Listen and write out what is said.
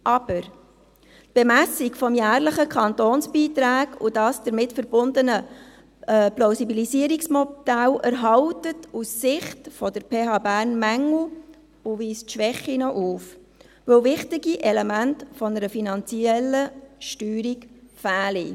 Aber: Die Bemessung der jährlichen Kantonsbeiträge und das damit verbundene Plausibilisierungsmodell enthalten aus Sicht der PH Bern Mängel und weisen Schwächen auf, weil wichtige Elemente einer finanziellen Steuerung fehlen.